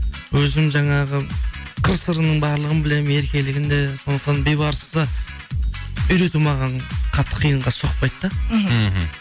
өзім жаңағы қыр сырының барлығын білемін еркелігін де сондықтан бейбарысты үйрету маған қатты қиынға соқпайды да мхм